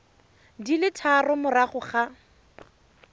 di le tharo morago ga